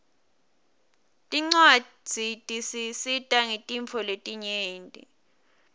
tincwadzi tisisita ngetintfo letinyenti